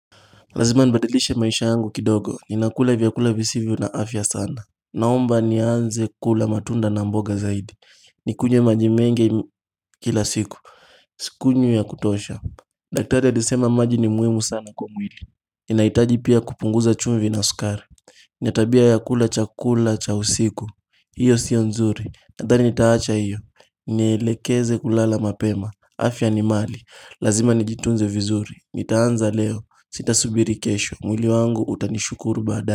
Lazima nibadilishe maisha yangu kidogo, ni nakula vyakula visivyo na afya sana Naomba ni anze kula matunda na mboga zaidi Nikunywe majimengi kila siku, sikunywi ya kutosha Daktari alisema majini muhimu sana kwa mwili ninahitaji pia kupunguza chumvi na sukari na tabia ya kula chakula cha usiku hiyo sio nzuri, nadhani nitaacha iyo Nielekeze kulala mapema, afya ni mali Lazima nijitunze vizuri, nitaanza leo Sita subiri kesho, mwili wangu utanishukuru baadaye.